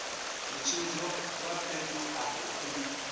mutshimbidzi wa fhethu afho u